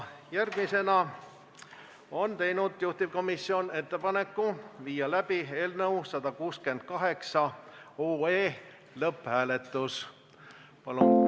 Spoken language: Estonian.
Järgmisena on juhtivkomisjon teinud ettepaneku viia läbi eelnõu 168 lõpphääletus.